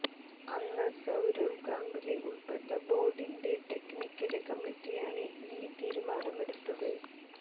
അന്ന് സൌരവ് ഗാംഗുലി ഉള്പ്പെട്ട ബോര്ഡിന്റെ ടെക്നിക്കല് കമ്മിറ്റിയാണ് ഈ തീരുമാനമെടുത്തത്